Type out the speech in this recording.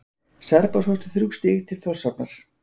Serbar sóttu þrjú stig til Þórshafnar